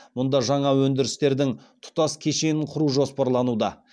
мұнда жаңа өндірістердің тұтас кешенін құру жоспарлануда